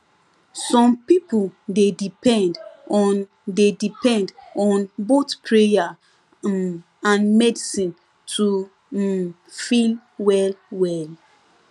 some people dey depend on dey depend on both prayer um and medicine to um feel well well